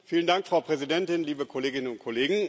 Frau Präsidentin, liebe Kolleginnen und Kollegen!